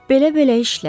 Belə-belə işlər.